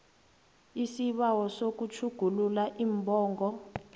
isibawo sokutjhugulula iimbongo